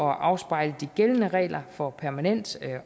afspejle de gældende regler for permanent